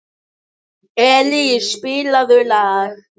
Elís, spilaðu lag.